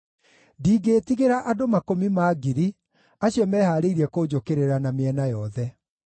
Ndingĩĩtigĩra andũ makũmi ma ngiri, acio mehaarĩirie kũnjũkĩrĩra na mĩena yothe.